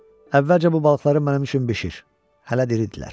Əvvəlcə bu balıqları mənim üçün bişir, hələ diridirlər.